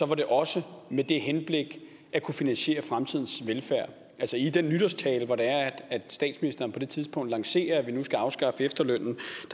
det også med det henblik at kunne finansiere fremtidens velfærd i den nytårstale hvor statsministeren på det tidspunkt lancerer at vi nu skal afskaffe efterlønnen